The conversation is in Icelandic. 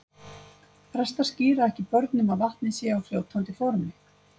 Prestar skíra ekki börn nema vatnið sé á fljótandi formi.